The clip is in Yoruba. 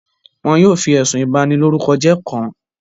Wọn yóò fi ẹ̀sùn ìbànilorúkọjẹ́ kàn án.